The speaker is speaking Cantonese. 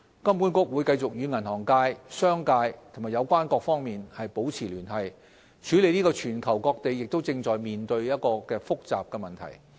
金管局會繼續與銀行界、商界和有關各方面保持聯繫，處理這個全球各地也正在面對的複雜問題。